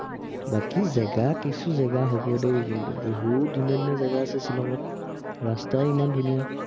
বাকী জেগা কিছু জেগা হব দেই কিন্তু, বহুত ধুনীয়া ধুনীয়া জেগা আছে শ্বিলংত। ৰাস্তাই ইমান ধুনীয়া।